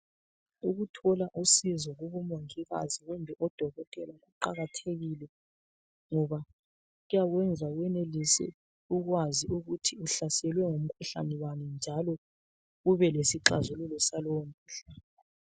Ukuthola usizo kubomongikazi kumbe odokotela kuqakathekile ngoba kuyakwenza wenelise ukwazi ukuthi uhlaselwe ngumkhuhlane bani njalo ube lesixhazululo salowo mkhuhlane.